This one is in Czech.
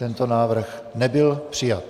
Tento návrh nebyl přijat.